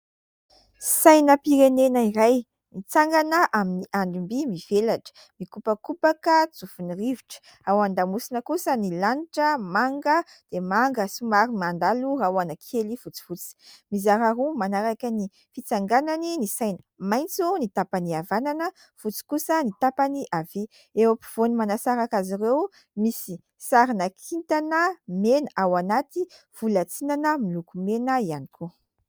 Sainam-pirenena iray mitsangana amin'ny andrim-by mivelatra, mikopakopaka tsofin'ny rivotra, ao an-damosina kosa ny lanitra manga dia manga somary mandalo rahona kely fotsifotsy. Mizara roa manaraka ny fitsanganany ny saina, maitso ny tapany havanana, fotsy kosa ny tapany havia. Eo ampovoany manasaraka azy ireo misy sarina kintana mena ao anaty vola-tsinana miloko mena ihany koa.